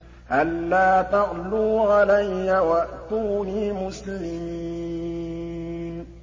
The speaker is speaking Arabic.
أَلَّا تَعْلُوا عَلَيَّ وَأْتُونِي مُسْلِمِينَ